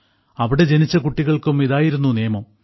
അവിടെ ജനിച്ച കുട്ടികൾക്കും ഇതായിരുന്നു നിയമം